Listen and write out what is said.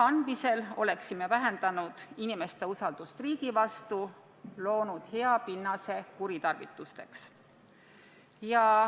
Loa andmisel oleksime vähendanud inimeste usaldust riigi vastu ja loonud hea pinnase andmete kuritarvitamiseks.